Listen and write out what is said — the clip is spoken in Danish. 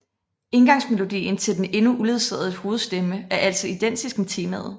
Indgangsmelodien til den endnu uledsagede hovedstemme er altså identisk med temaet